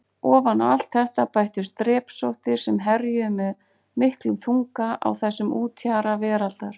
Ofan á allt þetta bættust drepsóttir sem herjuðu með miklum þunga á þessum úthjara veraldar.